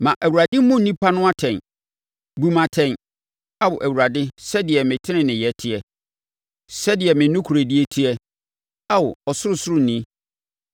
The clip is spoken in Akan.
ma Awurade mmu nnipa no atɛn. Bu me atɛn, Ao Awurade sɛdeɛ me teneneeyɛ teɛ, sɛdeɛ me nokorɛdie teɛ, Ao Ɔsorosoroni.